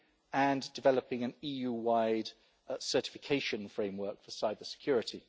and developing an EU-wide certification framework for cybersecurity.